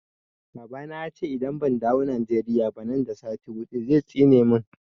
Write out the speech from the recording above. Baba na ya ce idan ban dawo Nigeria ba nan da sati huɗu zai tsine mun